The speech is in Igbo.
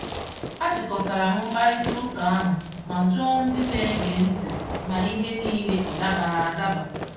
A chịkọtara m mkparịtaụka ahụ ma jụọ ndị na-ege ntị ma ihe niile ọ dabara adaba.